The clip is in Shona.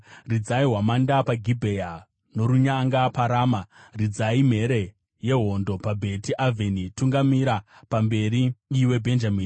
“Ridzai hwamanda paGibhea, norunyanga paRama. Ridzai mhere yehondo paBheti Avheni; tungamira pamberi, iwe Bhenjamini.